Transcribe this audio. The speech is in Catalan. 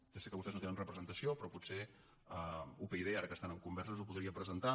ja sé que vostès no hi tenen representació però potser upyd ara que estan en converses ho podria presentar